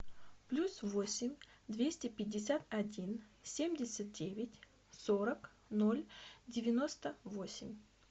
плюс восемь двести пятьдесят один семьдесят девять сорок ноль девяносто восемь